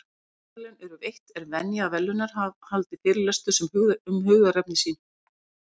Þegar Nóbelsverðlaun eru veitt, er venja að verðlaunahafar haldi fyrirlestur um hugðarefni sín.